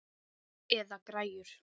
Eða græjur.